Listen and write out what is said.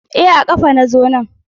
E a kafa na zo nan.